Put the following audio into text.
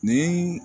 Nin